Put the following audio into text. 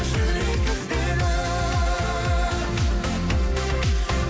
жүрек іздейді